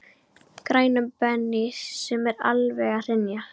grænum Bens sem er alveg að hrynja.